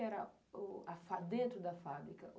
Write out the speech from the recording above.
que era o a fa, dentro da fábrica?